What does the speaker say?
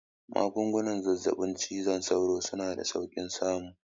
Magungunan zazzaɓin cizon sauro suna da saukin samu